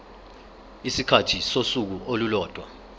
isikhathi sosuku olulodwa